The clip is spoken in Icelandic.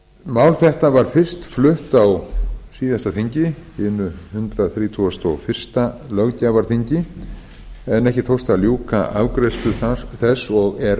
mál þetta var fyrst flutt á hundrað þrítugasta og fyrsta löggjafarþingi hinu hundrað þrítugasta og fyrsta löggjafarþingi en ekki tókst að ljúka afgreiðslu þess og er